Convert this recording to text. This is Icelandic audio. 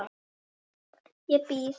Ég býð!